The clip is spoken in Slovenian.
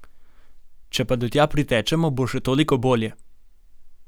Če pa do tja pritečemo, še toliko bolje!